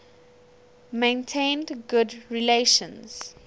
maintained good relations